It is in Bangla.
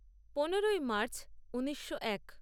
পনেরোই মার্চ ঊনিশো এক